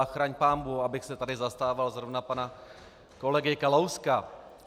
A chraň pánbůh, abych se tady zastával zrovna pana kolegy Kalouska.